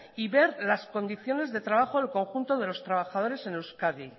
y ver las condiciones de trabajo en el conjunto de los trabajadores en euskadi